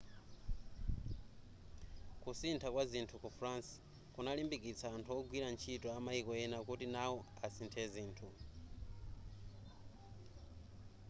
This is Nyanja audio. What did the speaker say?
kusintha kwa zinthu ku france kunalimbikitsa anthu ogwira ntchito amaiko ena kuti nao asinthe zinthu